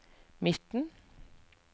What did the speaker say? midten